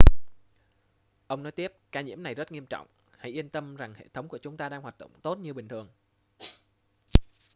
ông nói tiếp ca nhiễm này rất nghiêm trọng hãy yên tâm rằng hệ thống của chúng ta đang hoạt động tốt như bình thường